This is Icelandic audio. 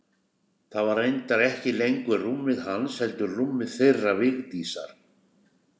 Það var reyndar ekki lengur rúmið hans heldur rúmið þeirra Vigdísar.